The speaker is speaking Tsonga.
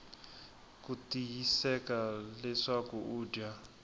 ku tiyiseka leswaku u dya